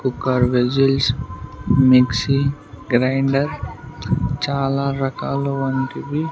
Cooker whistles mixie grinder చాలా రకాలు వంటివి.